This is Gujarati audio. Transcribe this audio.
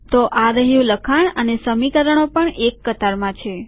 તો આ રહ્યું લખાણ અને સમીકરણો પણ એક કતારમાં છે